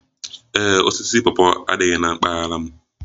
Ee e, osisi pawpaw adịghị na mpaghara m